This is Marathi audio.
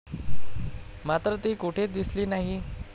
मात्र ती कुठेच दिसली नाही.